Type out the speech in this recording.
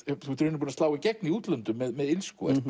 í rauninni búinn að slá í gegn í útlöndum með illsku og